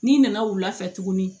N'i nana wulafɛ tuguni